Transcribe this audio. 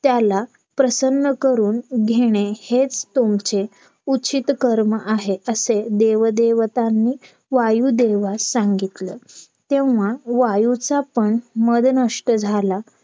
त्याला प्रसन्न करून घेणे हेच तुमचे उचित कर्म आहेत असे देव देवतांनी वायूदेवास सांगितलं तेव्हा वायूचा पण मधनष्ट झाला